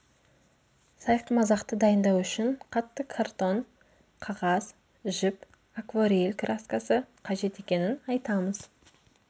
сайқымазақты дайындау үшін қатты картон қағаз жіп акварель краскасы қажет екенін айтамыз